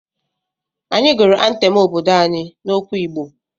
Anyị gụrụ antem obodo anyị n'okwu Igbo.